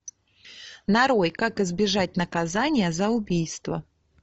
нарой как избежать наказания за убийство